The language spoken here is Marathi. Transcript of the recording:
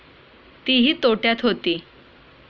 तीही तोट्यात होती.